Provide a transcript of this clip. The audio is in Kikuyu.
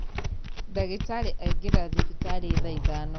Ndagītarī aingīra thibitarī thaa ithano.